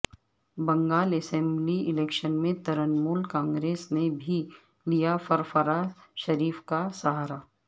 Bengal assembly election میں ترنمول کانگریس نے بھی لیا فرفرہ شریف کا سہارا